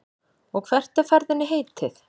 Og hvert er ferðinni heitið?